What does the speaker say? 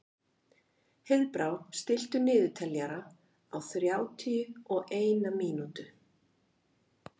Heiðbrá, stilltu niðurteljara á þrjátíu og eina mínútur.